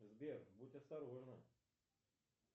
сбер будь осторожна